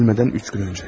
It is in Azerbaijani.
Öldürülmədən üç gün öncə.